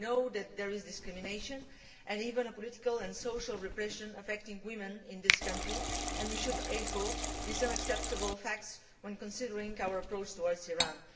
We know that there is discrimination, and even political and social repression, affecting women in this country, and we should echo these unacceptable facts when considering our approach towards Iran.